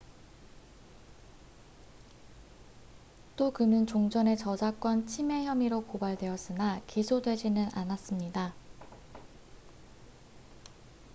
또 그는 종전에 저작권 침해 혐의로 고발되었으나 기소되지는 않았습니다